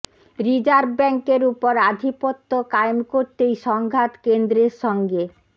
reserve ব্যাঙ্কের ওপর আধিপত্য কায়েম করতেই সংঘাত কেন্দ্রের সঙ্গে